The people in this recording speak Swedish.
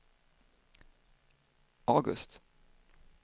August